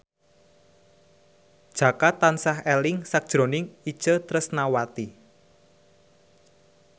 Jaka tansah eling sakjroning Itje Tresnawati